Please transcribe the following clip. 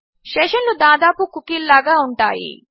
session లు దాదాపు కుకీల లాగా ఉంటాయి